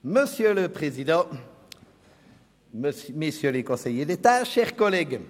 Das Geschäft Nr. 79 ist in freier Debatte zu beraten.